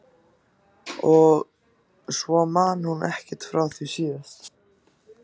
Og svo man hún ekkert frá því síðast.